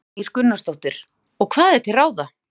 Kristín Ýr Gunnarsdóttir: Og hvað er til ráða?